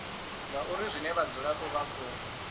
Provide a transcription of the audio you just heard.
zwauri zwine vhadzulapo vha khou